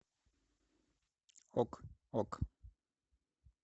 ок ок